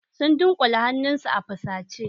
Sun dunkule hannunsu a fusace.